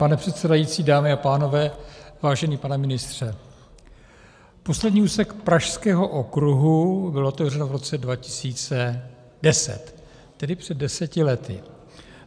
Pane předsedající, dámy a pánové, vážený pane ministře, poslední úsek pražského okruhu byl otevřen v roce 2010, tedy před deseti lety.